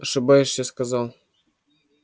ошибаешься сказал